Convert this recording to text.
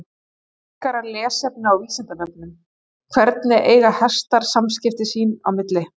Frekara lesefni á Vísindavefnum: Hvernig eiga hestar samskipti sín á milli?